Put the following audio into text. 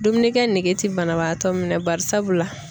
Dumunikɛ nege ti banabaatɔ minɛ barisabula.